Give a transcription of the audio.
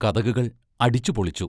കതകുകൾ അടിച്ചുപൊളിച്ചു.